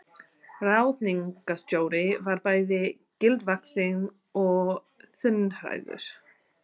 Ráðningarstjóri var bæði gildvaxinn og þunnhærður.